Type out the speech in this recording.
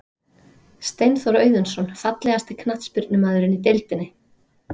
Steinþór Auðunsson Fallegasti knattspyrnumaðurinn í deildinni?